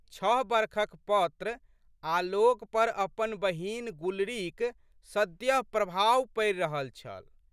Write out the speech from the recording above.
छः बरखक पौत्र आलोकपर अपन बहिन गुलरीक सद्यः प्रभाव पड़ि रहल छल।